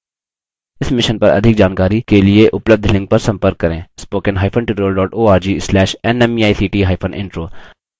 spoken hyphen tutorial dot org slash nmeict hyphen intro